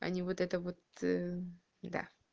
а не вот это вот ээ да